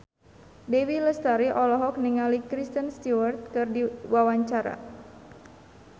Dewi Lestari olohok ningali Kristen Stewart keur diwawancara